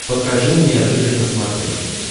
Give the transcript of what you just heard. покажи мне рыжий на смотрешке